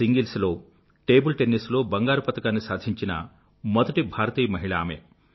individual table tennis లో బంగారు పతకాన్ని సాధించిన మొదటి భారతీయ మహిళ ఆమె